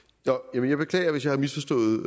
jeg beklager hvis jeg har misforstået